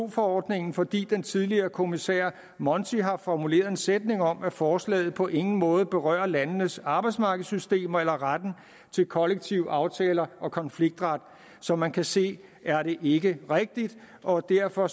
forordningen fordi den tidligere kommissær monti har formuleret en sætning om at forslaget på ingen måde berører landenes arbejdsmarkedssystemer eller retten til kollektive aftaler og konfliktret som man kan se er det ikke rigtigt og derfor